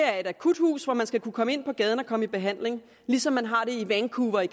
er et akuthus hvor man skal kunne komme ind fra gaden og komme i behandling ligesom man har det i vancouver i